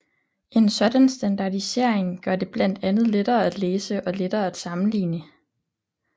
En sådan standardisering gør det blandt andet lettere at læse og lettere at sammenligne